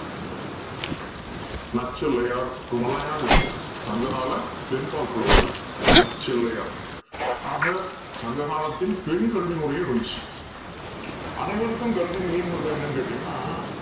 நச்சிளையார் இவுங்கல்லாம் யாரு சங்க கால பெண்ப்பால் புலவர்கள் நச்சிளையார் ஆக சங்க காலத்தின் பெண் கல்வி முறையும் இருந்துச்சு அனைவருக்கும் கல்வினு mean பன்றது என்னனு கேட்டிங்க்கனா